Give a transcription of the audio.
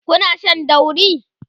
Kuna Shan dauri?